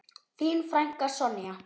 Þín frænka, Sonja.